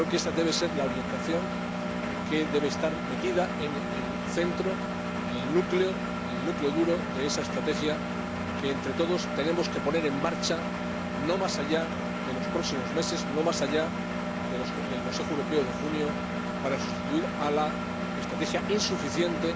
Creo que esa debe ser la orientación que debe estar situada en el centro, en el núcleo duro de esa estrategia que, entre todos, tenemos que poner en marcha, no más allá de los próximos meses, no más allá del Consejo Europeo de junio, para sustituir a la estrategia insuficiente